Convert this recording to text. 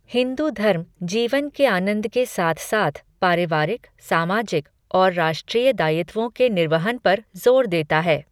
हिंदू धर्म जीवन के आनंद के साथ साथ पारिवारिक, सामाजिक और राष्ट्रीय दायित्वों के निर्वहन पर जोर देता है।